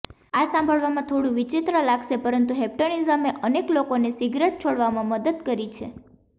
આ સાંભળવામાં થોડું વિચિત્ર લાગશે પરંતુ હીપ્નોટિઝમે અનેક લોકોને સિગરેટ છોડવામાં મદદ કરી છે